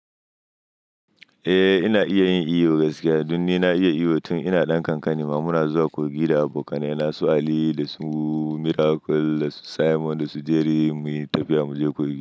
Eh ina iya yin iyo gaskiya, duk ni na iya iyo tun ina ɗan kankani ma muna zuwa Kogi da abokananina su Aliyu da su Miracle da Simon da su Jerry muyi tafiya muje Kogi.